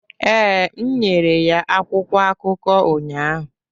ee, m nyere ya akwụkwọ akụkọ ụnyahụ